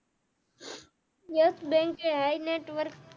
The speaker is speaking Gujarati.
yes Bank hi network